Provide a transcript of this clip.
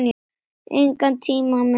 Engan tíma má missa.